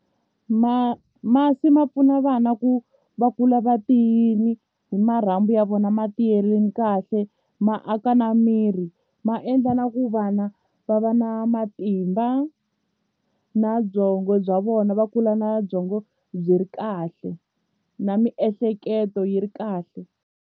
Ma masi ma pfuna vana ku va kula va tiyile hi marhambu ya vona ma tiyerini kahle ma aka na miri ma endla na ku va vana va va na matimba na byongo bya vona va kula na byongo byi ri kahle na miehleketo yi ri kahle.